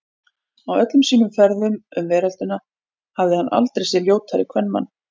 Á öllum sínum ferðum um veröldina hafði hann aldrei séð ljótari kvenmann.